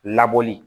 Labɔli